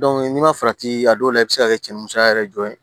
n'i ma farati a dɔw la i bɛ se ka kɛ cɛnniya yɛrɛ jɔ ye